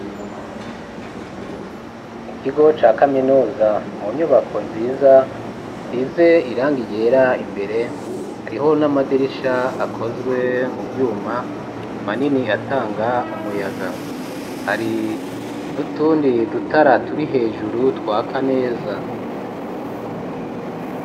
Mu kigo ca kaminuza mu nyubako nziza isize irangi ryera imbere hariho n'amadirisha akozwe mu vyuma manini atanga umuyaga hari n'utundi dutara turi hejuru twaka neza.